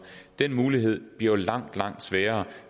den mulighed bliver langt langt sværere